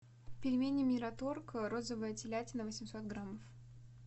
пельмени мираторг розовая телятина восемьсот грамм